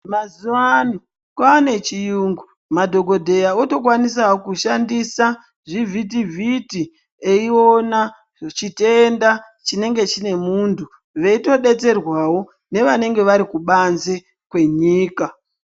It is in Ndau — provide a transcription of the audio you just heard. Mazuvano kwaane chiyungu, madhogodheya otokwanisawo kushandisa zvivhitivhiti eiona chitenda chinenge chinemuntu, veitodetserwawo nevanenge varikubanze kwenyika.